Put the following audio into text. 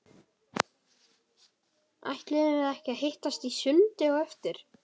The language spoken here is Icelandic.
Ætluðum við ekki að hittast í sundi á eftir?